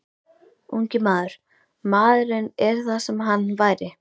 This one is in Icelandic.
Ungi maður, MAÐURINN ER ÞAÐ SEM HANN VÆRI.